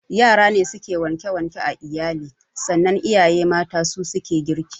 Yara ne suke wanke wanke a iyali sannan iyaye mata su suke girki